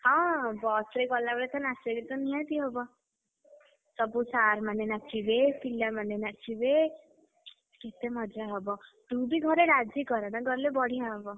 ହଁ bus ରେ ଗଲାବେଳେ ତ ନାଚ ଗୀତ ନିହାତି ହବ। ସବୁ sir ମାନେ ନାଚିବେ, ପିଲାମାନେ ନାଚିବେ, କେତେ ମଜା ହବ, ତୁ ବି ଘରେ ରାଜି କରା ଗଲେ ନା ବଢିଆ ହବ।